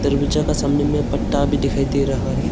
दरवाजा का सामने मे पट्टा भी दिखाई दे रहा है।